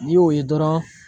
N'i y'o ye dɔrɔn.